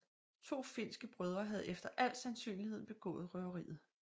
To finske brødre havde efter al sandsynlighed begået røveriet